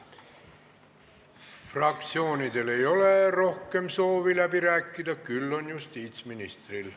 Fraktsioonidel ei ole rohkem soovi läbi rääkida, küll on see soov justiitsministril.